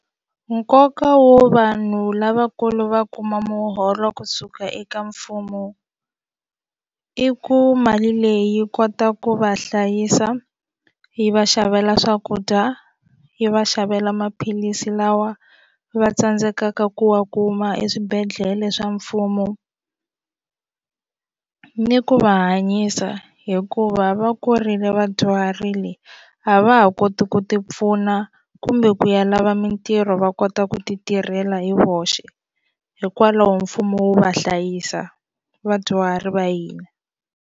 Nkoka wo vanhu lavakulu va kuma muholo kusuka eka mfumo i ku mali leyi yi kota ku va hlayisa yi va xavela swakudya yi va xavela maphilisi lawa va tsandzekaka ku wa kuma eswibedhlele swa mfumo ni ku va hanyisa hikuva va kurile vadyuharile a va ha koti ku ti pfuna kumbe ku ya lava mintirho va kota ku ti tirhela hi voxe hikwalaho mfumo wu va hlayisa vadyuhari va hina.